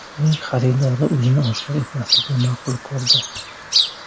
Uning xaridori o‘zini oshkor etmaslikni ma’qul ko‘rdi.